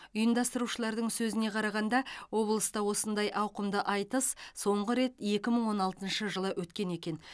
ұйымдастырушылардың сөзіне қарағанда облыста осындай ауқымды айтыс соңғы рет екі мың он алтыншы жылы өткен екен